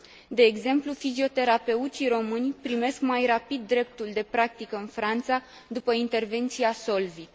De exemplu, fizioterapeuții români primesc mai rapid dreptul de practică în Franța după intervenția SOLVIT.